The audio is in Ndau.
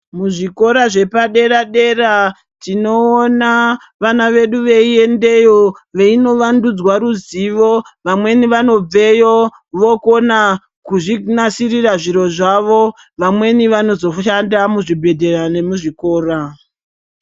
Muzvikora zvepadera dera tinoona vana vedu veiendeyo veinovandudzwa ruzivo vamweni vanobveyo vokona kuzvinasirira zviro zvavo vamweni vanozoshanda muzvibhedhlera nemuzvikora.